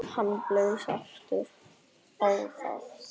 Hann blæs aftur á það.